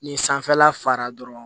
Ni sanfɛla fara dɔrɔn